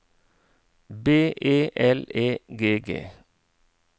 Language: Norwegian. B E L E G G